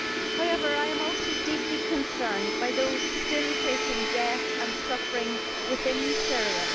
However, I am also deeply concerned by those still facing death and suffering within Syria.